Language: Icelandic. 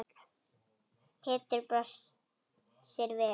Pétur brosir við.